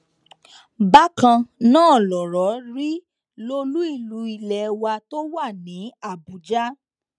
bákan náà lọrọ rí lólu ìlú ilé wa tó wà ní àbújá